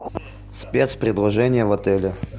спецпредложения в отеле